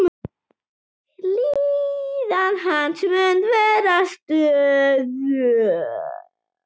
Líðan hans mun vera stöðug.